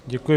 Děkuji.